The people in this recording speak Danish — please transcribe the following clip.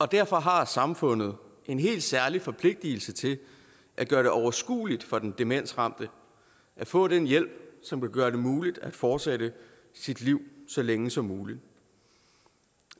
derfor har samfundet en helt særlig forpligtelse til at gøre det overskueligt for den demensramte at få den hjælp som vil gøre det muligt at fortsætte sit liv så længe som muligt